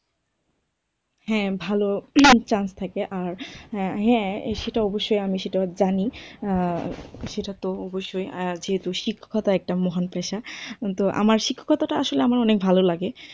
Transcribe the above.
হ্যাঁ, ভালো একটা chance থাকে, আর হ্যাঁ সেটা অবশ্যই আমি সেটা জানি আহ সেটাতো অবশ্যই আর যেহেতু শিক্ষকতা একটা মহান পেশা, কিন্তু আমার শিক্ষকতাটা আসলে আমার অনেক ভালো লাগে।